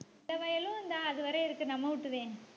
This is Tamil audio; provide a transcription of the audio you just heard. இந்த வயலும் இந்தா அதுவரை இருக்கு நம்ம வீட்டு தான்